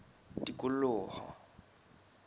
tikoloho